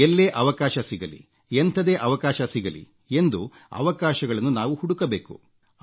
ಎಲ್ಲೇ ಅವಕಾಶ ಸಿಗಲಿ ಎಂಥದೇ ಅವಕಾಶ ಸಿಗಲಿ ಎಂದು ಅವಕಾಶಗಳನ್ನು ನಾವು ಹುಡುಕಬೇಕು